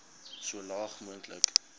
so laag moontlik